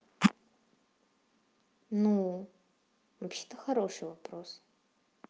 ну вообще это хороший вопрос